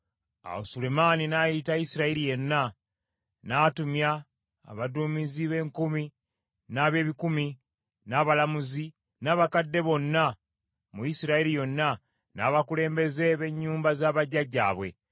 Awo Sulemaani n’ayita Isirayiri yonna, n’atumya abaduumizi b’enkumi n’ab’ebikumi, n’abalamuzi, n’abakadde bonna mu Isirayiri yonna, n’abakulembeze b’ennyumba za bajjajjaabwe.